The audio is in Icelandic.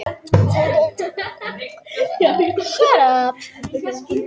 Aðeins sjálfvirkt kerfi getur ráðið við að staðsetja svo marga skjálfta í nær-rauntíma.